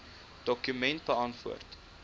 dokument beantwoord